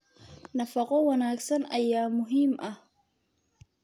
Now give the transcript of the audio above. Nafaqo wanaagsan ayaa muhiim ah.